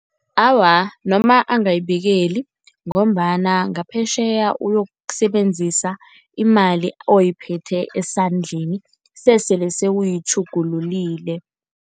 Awa, noma angayibikeli ngombana ngaphetjheya uyokusebenzisa imali oyiphethe esandleni sesele sewuyitjhugululile.